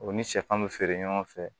O ni sɛfan be feere ɲɔgɔn fɛ